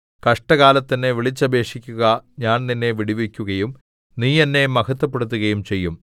കഷ്ടകാലത്ത് എന്നെ വിളിച്ചപേക്ഷിക്കുക ഞാൻ നിന്നെ വിടുവിക്കുകയും നീ എന്നെ മഹത്വപ്പെടുത്തുകയും ചെയ്യും